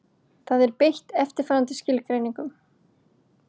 Þar er beitt eftirfarandi skilgreiningu: